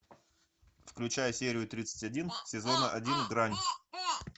включай серию тридцать один сезона один грань